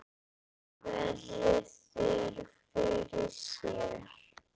Raggi virðir þær fyrir sér.